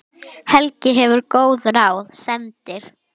Helgi gefur góð ráð, sendir